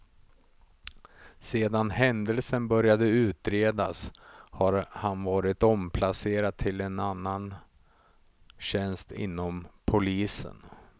Sedan händelsen började utredas har han varit omplacerad till annan tjänst inom polisen.